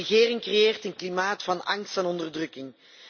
De regering creëert een klimaat van angst en onderdrukking.